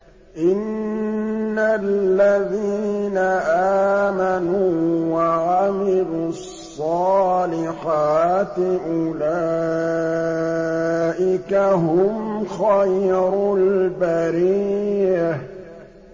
إِنَّ الَّذِينَ آمَنُوا وَعَمِلُوا الصَّالِحَاتِ أُولَٰئِكَ هُمْ خَيْرُ الْبَرِيَّةِ